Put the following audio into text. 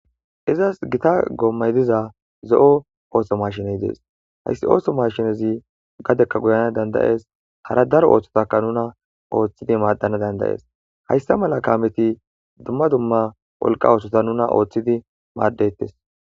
Izas gita goommay diza zo'o ooso mashiney dees hayssi ooso mashinezi gadekka guyana dandayees hara daro ooththotaka nuna ooththidi maaddana dandayees hayssa mala kaameti dumma dumma wolqa ooththota nuna ooththidi maaddettes.